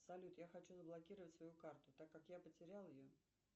салют я хочу заблокировать свою карту так как я потеряла ее